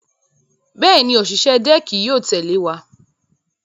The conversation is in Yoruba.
Bẹ́ẹ̀ni, òṣìṣẹ́ dẹ́ẹ̀kì yóò tẹ̀lé wa.